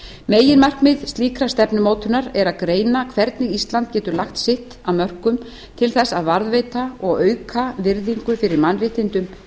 meginmarkmið slíkrar stefnumótunar er að greina hvernig ísland getur lagt sitt af mörkum til þess að varðveita og auka virðingu fyrir mannréttindum í